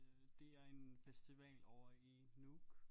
Øh det er en festival ovre i Nuuk